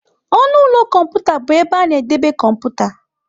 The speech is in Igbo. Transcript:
ọnụ ụlọ kọmputa bụ ebe a na-edebe kọmputa.